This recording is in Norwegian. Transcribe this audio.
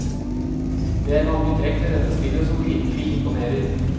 Det er mange trekk ved dette spillet som virkelig imponerer.